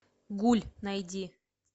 гуль найди